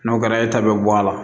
N'o kɛra e ta bɛ bɔ a la